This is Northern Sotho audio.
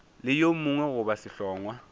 le yo mongwe goba sehlongwa